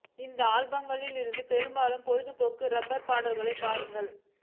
இந்த ஆல்பங்களில் இருந்து பெருமளவில் பொழுதுபோக்கு ரப்பர் பாடல்களை பாருங்கள்